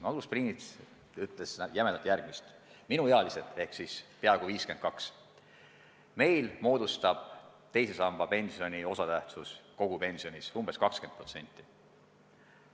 Magnus Piirits ütles laias laastus järgmist, et minuealistel – ma olen peaaegu 52 aastat vana – moodustab teise samba pensioni osatähtsus kogupensionis umbes 20%.